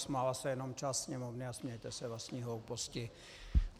Smála se jenom část Sněmovny a smějete se vlastní hlouposti.